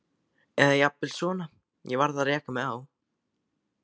Eða jafnvel svona: Ég varð að reka mig á.